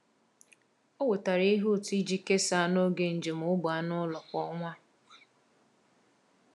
Ọ wetara ihe ụtọ iji kesaa n’oge njem ógbè anụ ụlọ kwa ọnwa.